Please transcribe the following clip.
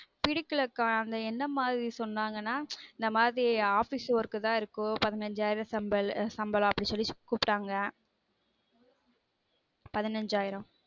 புடிக்கலா கா அந்த என்ன மாரி சொன்னங்கனா இந்த மாரி office work தான் இருக்கும் பதினைஞ்சு ஆயிரம் சம்பளம் அப்டினு சொல்லி கூப்ட்டாங்க பதினைஞ்சு ஆயிரம்